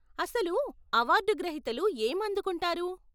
అసలు, అవార్డు గ్రహీతలు ఏం అందుకుంటారు?